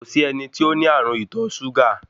Kòsí ẹni tó ní ààrùn ìtọ súgà